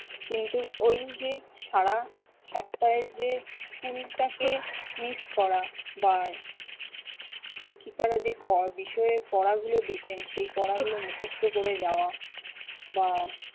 কিন্তু ওই যে সারা সপ্তাহে যে school টাকে miss করা বা শিক্ষিকারা যে পড়া~ বিষয়ে পড়াগুলো দিতেন সেই পড়াগুলো মুখস্থ করে যাওয়া বা